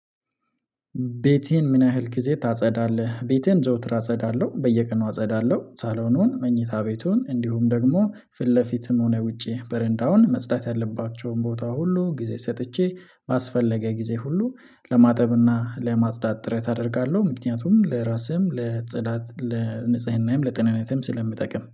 ቤቴን ምን ያህል ጊዜ ታጸዳለህ? ቤቴን ዘውትር አጸዳለሁ በየቀኑ አጸዳለሁ ሳሎኑን መኝታ ቤቱን እንዲሁም ደግሞ ፊት ለፊትም ሆነ ውጪ በረንዳውን መጽዳት ያለባቸውን ቦታ ሁሉ ጊዜ ሰጥቼ ባስፈለገ ጊዜ ሁሉ ለማጠብና ለማጽዳት ጥረት አደርጋለሁ፤። ምክንያቱም ለራስህም ለጽዳት ለንጽህናህም ለጥንነትም ስለምጠቅም